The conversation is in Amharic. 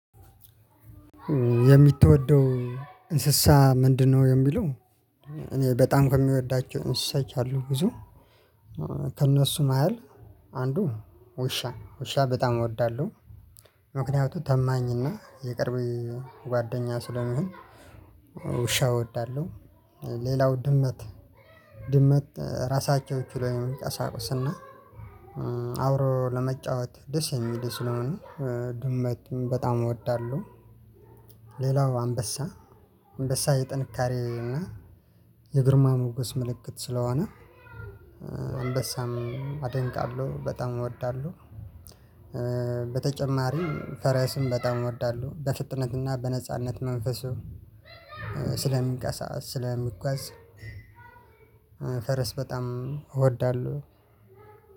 የምትወደው እንስሳ ምንድነው? የሚለው እኔ በጣም ከሚወዳቸው እንስሳት አሉ ብዙ። ከእነሱ መሃል አንዱ ውሻ ውሻ በጣም እወዳለሁ። ምክንያቱም ታማኝና የቅርብ ጓደኛ ስለሚሆን ውሻ እወዳለሁ። ሌላው ድመት ድመት ራሳቸው ችለው የመንቀሳቀስና ለመጫወት ደስ የሚሉ ስለሆኑ ድመትን በጣም እወዳለሁ። ሌላው አንበሳ አንበሳ የጥንካሬ እና የግርማ ሞገስ ምልክት ስለሆነ አንበሳም አደንቃለሁ በጣም እወዳለሁ። በተጨማሪም ፈረስም በጣም እወዳለሁ በፍጥነትና በነጻነት መንፈሱ ስለሚቀሳ ስለሚጋዝ ፈረስ በጣም እወዳለሁ።